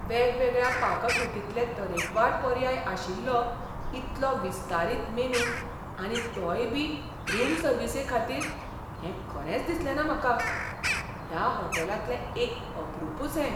वेगवेगळ्या पाककृतींतलें तरेकवार पर्याय आशिल्लो इतलो विस्तारीत मेनू आनी तोय बी रूम सर्विसेखातीर हें खरेंच दिसलेंना म्हाका. ह्या होटॅलांतलें एक अपरूपच हें!